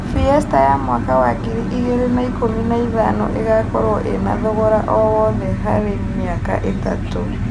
fiesta ya mwaka wa ngiri igĩrĩ na ĩkũmi na ĩthano ĩgakorwo ĩna thogora o wothe harĩ mĩaka ĩtatũ